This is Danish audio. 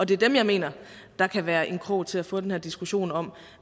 det er dem jeg mener kan være en krog til at få den her diskussion om